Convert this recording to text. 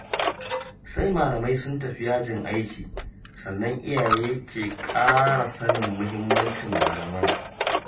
Sai malamai sun tafi yajin aiki, sannan iyaye ke ƙara sanin muhimmancin malaman.